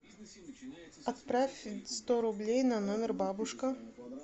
отправь сто рублей на номер бабушка